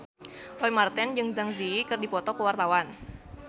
Roy Marten jeung Zang Zi Yi keur dipoto ku wartawan